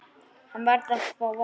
Hann varð að fá vatn.